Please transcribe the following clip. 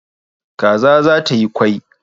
Kaza za ta yi kwai